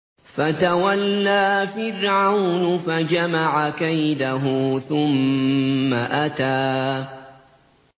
فَتَوَلَّىٰ فِرْعَوْنُ فَجَمَعَ كَيْدَهُ ثُمَّ أَتَىٰ